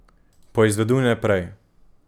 Poizveduj naprej.